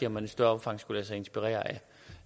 om man i større omfang skulle lade sig inspirere